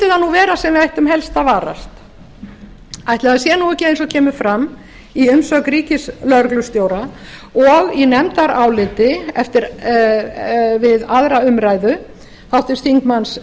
vera sem við ættum helst að varast ætli það sé nú ekki eins og kemur fram í umsögn ríkislögreglustjóra og í nefndaráliti við aðra umræðu háttvirtur